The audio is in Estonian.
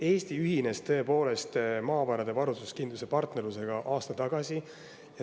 Eesti ühines tõepoolest aasta tagasi Maavarade Varustuskindluse Partnerlusega.